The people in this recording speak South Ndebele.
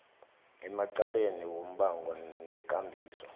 emacaleni wombango nekambiso